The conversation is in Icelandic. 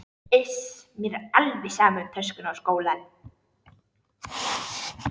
Iss, mér er alveg sama um töskuna og skólann